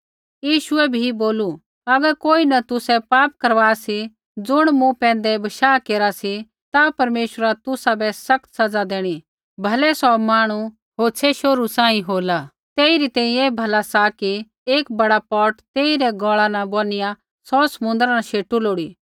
यीशुऐ भी बोलू अगर कोई न तुसै पाप करवा सी ज़ुण मूँ पैंधै बशाह केरा सी ता परमेश्वरा तुसाबै सख्त सज़ा देणी भलै सौ मांहणु होछ़ै शोहरू सांही होला तेइरी तैंईंयैं ऐ भला सा कि एक बड़ा पौट तेई रै गौल़ा न बोनिआ सौ समुन्द्र न शेटू लोड़ी